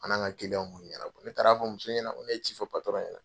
An n'an ka b'o ka ɲɛnabɔ ne taara fɔ muso ɲɛna n ko ne ye ci fɔ ɲɛna.